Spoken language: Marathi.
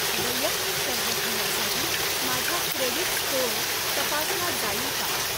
वैयक्तिक कर्ज घेण्यासाठी माझा क्रेडिट स्कोअर तपासला जाईल का?